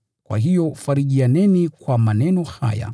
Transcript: Kwa hiyo farijianeni kwa maneno haya.